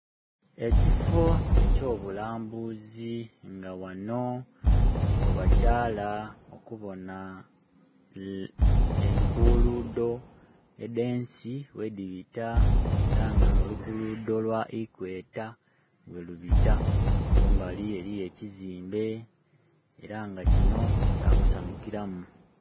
Ekifoo ekyo bulambuzi nga wano we bakyala okubona enkuludho edhe nsi ghedhibita era nga no lukuludho lwa ikweta werubita. Kumbali eriyo ekizimbe era nga kino kya kusanhukilamu.